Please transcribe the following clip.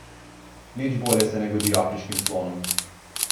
Nič bolje se ne godi afriškim slonom.